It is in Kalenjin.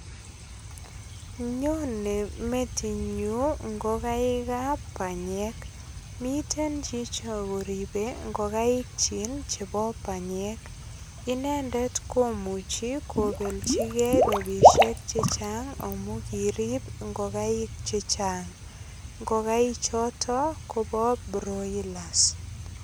nyone metinyun ngokaek ap banyek miten chicho koribe ngokaik chi chebo banyek inendet komuchi kopelchigei robishek chechang amu kirip ngokaik che chang ngokaik choto kobo broilers